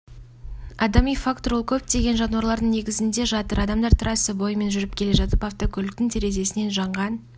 адами фактор ол көптеген жанулардың негізінде жатыр адамдар трасса бойымен жүріп келе жатып автокөліктің терезесінен жанған